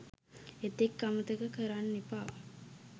එතෙක් අමතක කරන්න එපා